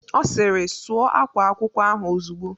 Ọ sịrị "Sụọ ákwá akwụkwọ ahụ ozugbo"